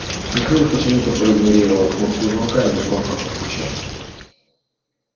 михаил почему-то проигнорировал кнопку звонка и негромко постучал